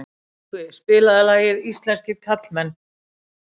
Yngvi, spilaðu lagið „Íslenskir karlmenn“.